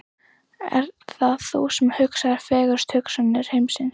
Ert það þú sem hugsaðir, fegurstu hugsanir heimsins?